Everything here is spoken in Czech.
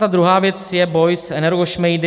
Ta druhá věc je boj s energošmejdy.